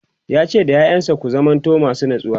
yace da ƴaƴansa "ku zamanto masu natsuwa!"